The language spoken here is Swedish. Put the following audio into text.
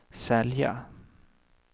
sälja